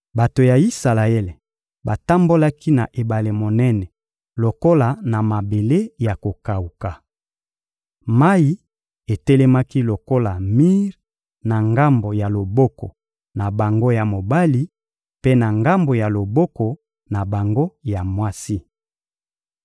Bato ya Isalaele batambolaki na ebale monene lokola na mabele ya kokawuka. Mayi etelemaki lokola mir na ngambo ya loboko na bango ya mobali mpe na ngambo ya loboko na bango ya mwasi.